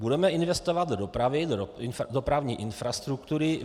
Budeme investovat do dopravy, do dopravní infrastruktury.